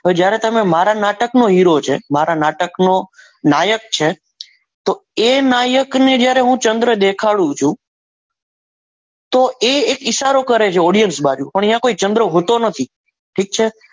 જ્યારે તમે મારા નાટકનો હીરો છે મારા નાટકનો નાયક છે તો એ નાયક ને જ્યારે હું ચંદ્ર દેખાડું છું તો એ એક ઇશારો કરે છે audience બાજુ પણ અહીંયા કોઈ ચંદ્ર હોતો નથી ઠીક છે.